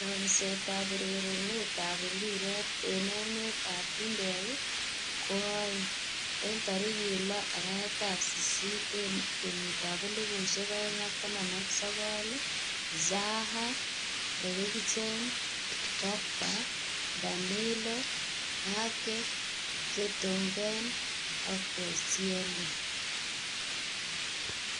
Chomset ab urerenet ab mbiret eng emet ab chumbek koaeng' 06.08.2019: Zaha, Eriksen, Pogba, Danilo, Ake, Vertonghen, Koscielny